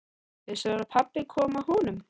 Vissirðu að pabbi kom að honum?